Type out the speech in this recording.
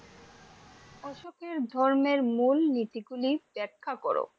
অশোকের ধর্মের মূলনীতি গুলি ব্যাখ্যা করো?